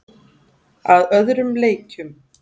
Að öðrum leikjum.